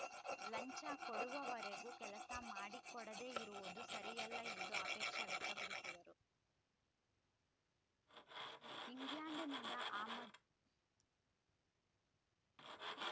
ಲಂಚ ಕೊಡುವವರೆಗೂ ಕೆಲಸ ಮಾಡಿಕೊಡದೆ ಇರುವುದು ಸರಿಯಲ್ಲ ಎಂದು ಆಕ್ಷೇಪ ವ್ಯಕ್ತಪಡಿಸಿದರು